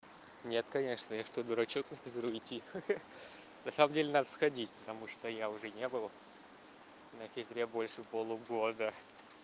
нет конечно я что дурачок на физру идти ха-ха на самом деле надо сходить потому что я уже не был на физре больше полугода